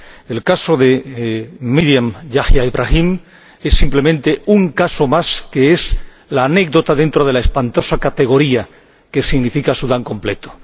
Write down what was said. El caso de Meriam Yahia Ibrahim es simplemente un caso más, que es la anécdota dentro de la espantosa categoría que significa Sudán completo.